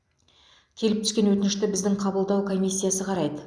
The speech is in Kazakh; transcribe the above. келіп түскен өтінішті біздің қабылдау комиссиясы қарайды